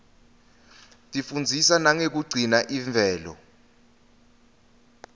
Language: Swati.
tifundzisa nangekugcina imvelo